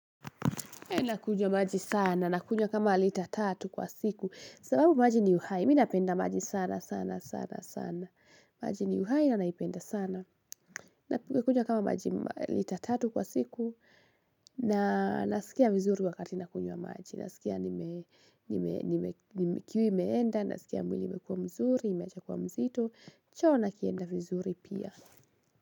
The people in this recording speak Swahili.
Nakunywa maji sana, nakunywa kama lita tatu kwa siku. Sababu maji ni uhai. Mimi napenda maji sana, sana, sana, sana. Maji ni uhai na naipenda sana. Nakunywa kama maji lita tatu kwa siku. Nasikia vizuri wakati nakunywa maji. Nasikia nime nime nime kiu imeenda, nasikia mwili imekua mzuri, imeacha kuwa mzito. Choo nakienda vizuri pia.